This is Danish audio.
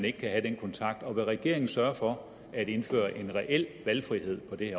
ikke kan have den kontakt og vil regeringen sørge for at indføre en reel valgfrihed på det